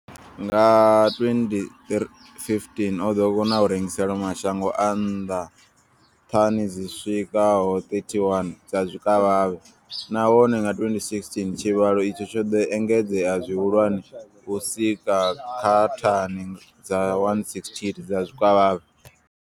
Nga 2015, o ḓo kona u rengisela mashango a nnḓa thani dzi swikaho 31 dza zwikavhavhe, nahone nga 2016 tshivhalo itshi tsho ḓo engedzea zwihulwane u swika kha thani dza 168 dza zwikavhavhe.